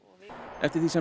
eftir því sem